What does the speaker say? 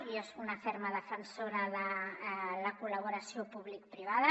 jo soc una fer·ma defensora de la col·laboració publicoprivada